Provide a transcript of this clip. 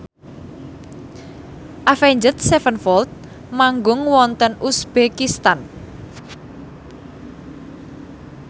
Avenged Sevenfold manggung wonten uzbekistan